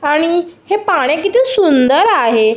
आणि हे पाणी किती सुंदर आहे.